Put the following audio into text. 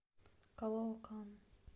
калоокан